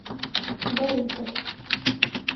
борисов